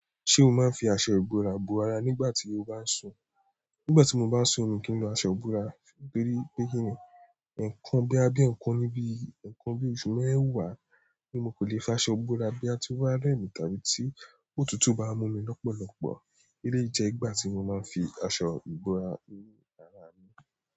Ṣé o máa ń fi aṣọ ìbora bo ara nígbà tí o bá ń sùn? Nígbà tí mo bá ń sùn mi kì í lo aṣọ ìbora, torí pé kíńì, nǹkan boya bíi, nǹkan bíi oṣù mẹ́wàá, ni mo kan lè fi aṣọ bora boya ti o ba rẹmi tàbí tí òtútù bá mú mi lọ́pọ̀lọpọ̀. Eléyìí jẹ́ ìgbà tí mo máa ń fi aṣọ ìbora yi ara mi.